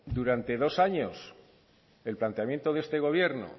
durante dos años el planteamiento de este gobierno